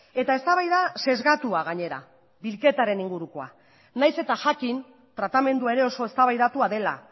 eta eztabaida sesgatua gainera bilketaren ingurukoa nahiz eta jakin tratamendua ere oso eztabaidatua dela